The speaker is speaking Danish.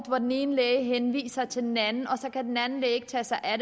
hvor den ene læge henviser til den anden men så kan den anden læge ikke tage sig af